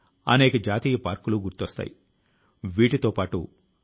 ప్రాచీన కాలం లో ఈ కళ లో ఎర్ర మట్టి ని ఉపయోగించే వారు